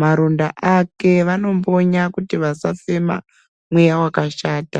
maronda ake, vanombonya kuti vasafema mweya wakashata.